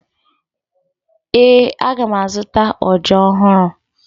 Ee, aga m azụta ọja ọhụrụ